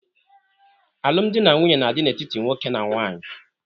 Alụmdi na nwunye na-adị n'etiti nwoke na nwaanyị.